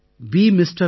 பே MR